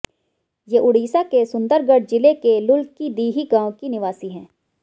ये उड़ीसा के सुंदरगढ़ ज़िले के लुलकीदिही गांव की निवासी है